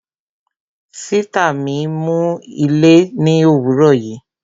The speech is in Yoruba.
Sìtá mi nu ilé ni òwúrò yìí